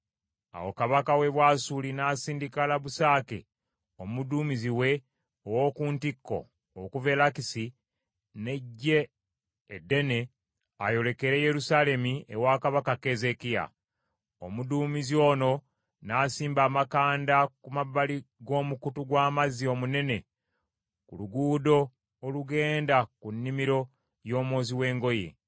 Awo kabaka w’e Bwasuli n’asindika Labusake omuduumizi we ow’oku ntikko okuva e Lakisi n’eggye eddene ayolekere Yerusaalemi ewa kabaka Keezeekiya. Omuduumizi ono n’asimba amakanda ku mabbali g’omukutu gw’amazzi omunene ku luguudo olugenda ku Nnimiro y’Omwozi w’Engoye.